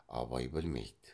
абай білмейді